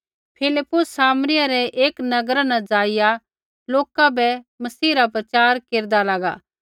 फिलिप्पुस सामरिया रै एक नगरा न ज़ाइआ लोका बै मसीह रा प्रचार केरदा लागा